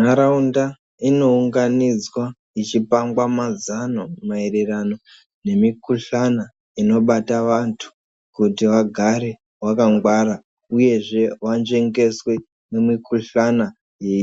Ntaraunda inounganidzwa yechipangwa mazano maererano nemikuhlano inobata vantu kuti vagare vakangwara uyezve vanzvengeswe mumikuhlana